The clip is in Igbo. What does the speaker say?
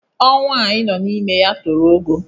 Ọnwa a anyị nọ n'ime ya toro ogo